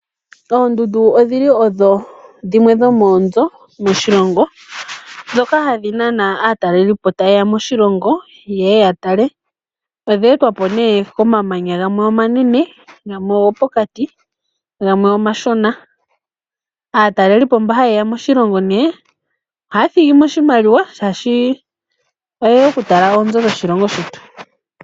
Oondundu odhili odho dhimwe dho moonzo dhoshilongo ndhoka hadhi nana aatalelipo tayeya moshilongo yeye yatale. Odha etwapo ne komamanya gamwe omanene gamwe ogopokati gamwe omashona . Aatalelipo mba hayeya moshilongo ohaya thigi mo oshimaliwa, oshoka oyeya oku tala oonzo dhoshilongo shetu.